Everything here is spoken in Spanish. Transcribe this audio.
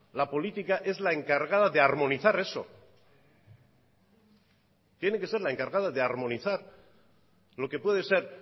la política es la encargada de armonizar eso tiene que ser la encargada de armonizar lo que puede ser